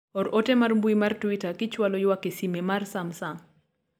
or ote mar mbui mar twita kichwalo ywak e sime mar samsung